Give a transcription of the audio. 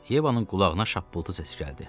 Yevanın qulağına şappıltı səsi gəldi.